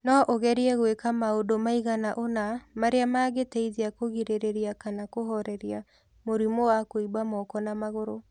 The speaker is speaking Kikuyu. No ũgerie gwĩka maũndu maigana ũna marĩa mangĩteithia kũgirĩrĩria kana kũhooreria mũrimũ wa kũimba moko na magũru.